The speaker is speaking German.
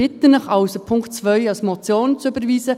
Ich bitte Sie also, den Punkt 2 als Motion zu überweisen.